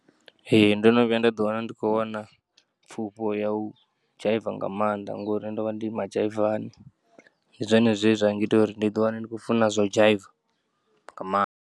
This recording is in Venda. Ee, ndo no vhuya nda ḓiwana ndi kho wana pfufho ya u dzhaiva nga maanḓa ngori ndovha ndi madzhaivani, ndi zwone zwe zwa ngita uri ndi ḓiwane ndi tshikho u funa zwa u dzhaiva nga maanḓa.